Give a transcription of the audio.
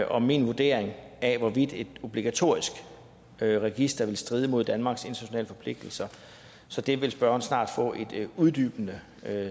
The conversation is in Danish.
om min vurdering af hvorvidt et obligatorisk register vil stride mod danmarks internationale forpligtelser så det vil spørgeren snart få et uddybende